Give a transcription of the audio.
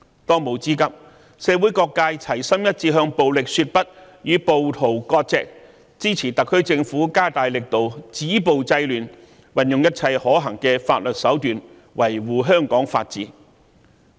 當務之急，是社會各界齊心一致向暴力說不，與暴徒割席，支持特區政府加大力度止暴制亂，運用一切可行法律手段，維護香港法治。